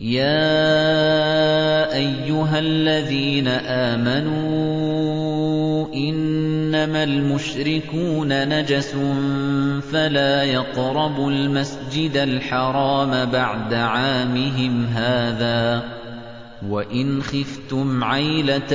يَا أَيُّهَا الَّذِينَ آمَنُوا إِنَّمَا الْمُشْرِكُونَ نَجَسٌ فَلَا يَقْرَبُوا الْمَسْجِدَ الْحَرَامَ بَعْدَ عَامِهِمْ هَٰذَا ۚ وَإِنْ خِفْتُمْ عَيْلَةً